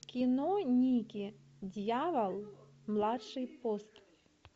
кино никки дьявол младший пост